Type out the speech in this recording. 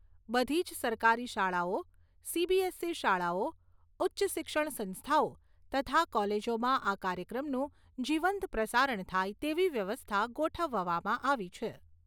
બધી જ સરકારી શાળાઓ, સીબીએસઈ શાળાઓ, ઉચ્ચ શિક્ષણ સંસ્થાઓ તથા કોલેજોમાં આ કાર્યક્રમનું જીવંત પ્રસારણ થાય તેવી વ્યવસ્થા ગોઠવવામાં આવી છે.